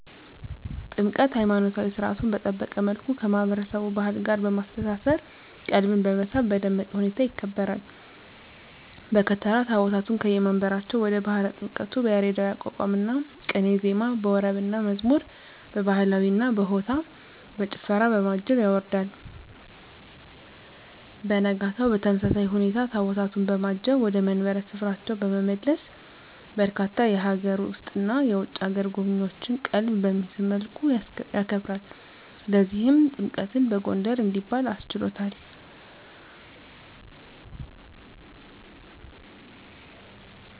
ጥምቀት!! ሀይማኖታዊ ሰርዓቱን በጠበቀ መልኩ ከማህበረሰቡ ባህል ጋር በማስተሳሰር ቀልብን በመሳብ በደመቀ ሁኔታ ይከበራል። በከተራ ታቦታቱን ከየመንበራቸው ወደ ባህረ ጥምቀቱ በያሬዳዊ የአቋቋምና ቅኔ ዜማ፣ በወረብና መዝሙር፣ በባህላዊ በሆታና በጭፈራ፣ በማጀብ ያወርዳል። በነጋታው በተመሳሳይ ሁኔታ ታቦታቱን በማጀብ ወደ መንበረ ክብራቸው በመመለስ በርካታ የሀገር ውስጥና የውጭ አገር ጎብኚዎችን ቀልብ በሚስብ መልኩ ያከብራል። ለዚህም ጥምቀትን በጎንደር እንዲባል አስችሎታል!!